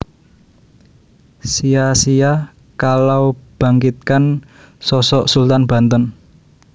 Sia sia Kalau Bangkitkan Sosok Sultan Banten